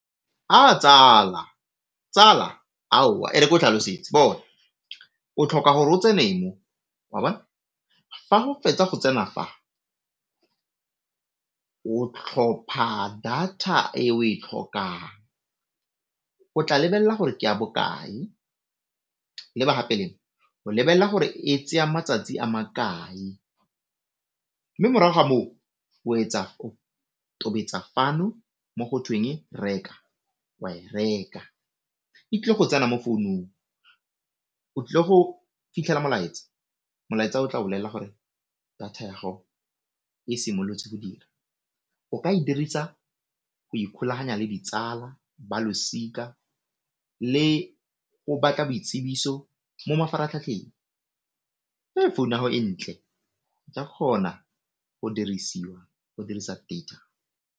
Aa tsala, tsala aowa e re ko tlhalosetse bona o tlhoka gore o tsene mo, wa bona? Fa o fetsa go tsena fa o tlhopha data e o e tlhokang o tla lebella gore ke ya bokae o lebelela gore e tseya matsatsi a makae, mme morago ga moo o etsa o tobetsa fano mo go tweng reka, wa e reka e tlile go tsena mo founong, o tlile go fitlhela molaetsa, molaetsa o tla o bolella gore data ya gago e simolotse go dira o ka e dirisa go ikgolaganya le ditsala, ba losika le go boitsibiso mo mafaratlhatlheng founa yago e ntle ka kgona go dirisiwa go dirisa data.